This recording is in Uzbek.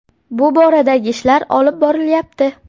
Bu boradagi ishlar olib borilyapti.